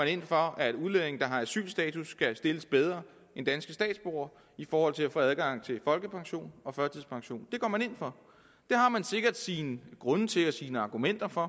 ind for at udlændinge der har asylstatus skal stilles bedre end danske statsborgere i forhold til at få adgang til folkepension og førtidspension det har man sikkert sine grunde til og sine argumenter for